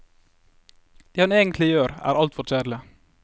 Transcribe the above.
Det han egentlig gjør er altfor kjedelig.